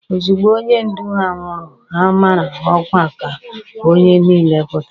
Ozugbo onye ndu ha nwụrụ, ha mara ọkwa ka onye niile pụta.